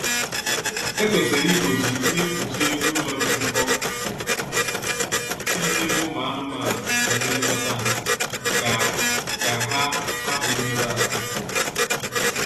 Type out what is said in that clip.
E kwesịrị igbochi ihe mkpuchi elu ụlọ dị nkọ iji chebe ụmụ anụmanụ na ndi nlekọta ha ka ka ha hupu imerụ ahụ